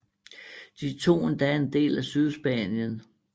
De tog endda en del af Sydspanien